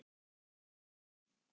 Er það rétt?